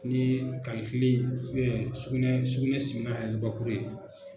Ni sugunɛ sugunɛ simina yɛrɛ bakuru ye.